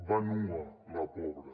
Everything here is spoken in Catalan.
va nua la pobra